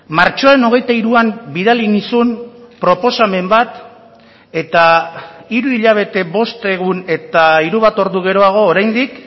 martxoaren hogeita hiruan bidali nizun proposamen bat eta hiru hilabete bost egun eta hiru bat ordu geroago oraindik